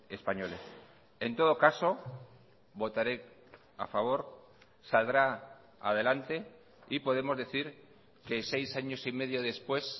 españoles en todo caso votaré a favor saldrá adelante y podemos decir que seis años y medio después